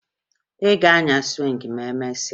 Ị ga-anya sụwịngị ma emesịa?